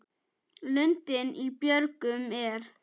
Lundinn í björgum er.